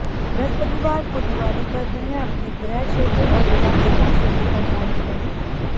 बृहस्पतिवार को दीवाली पर वह अपने गृह क्षेत्र और विधानसभा क्षेत्र करनाल में रहेंगे